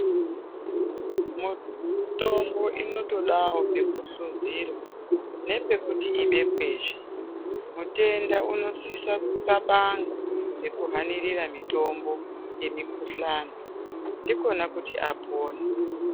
Mitombo inotodawo pekuhluzirwa, nepekuti ibekwezve, mutenda unosisa kunxabanga ngekuhanirira mitombo yemikuhlani ndikona kuti apone.